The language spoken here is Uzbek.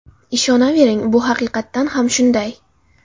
Ishonavering, bu haqiqatan ham shunday!